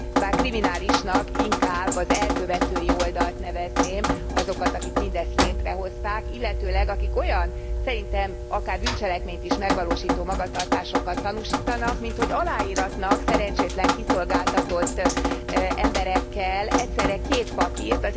Bár kriminálisnak inkább az elkövetői oldalt nevezném, azokat, akik mindezt létrehozták, illetőleg akik olyan, szerintem akár bűncselekményt is megvalósító magatartásokat tanúsítanak, minthogy aláíratnak szerencsétlen kiszolgáltatott emberekkel egyszerre két papírt.